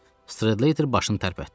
Strater başını tərpətdi.